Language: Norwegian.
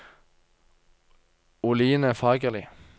Oline Fagerli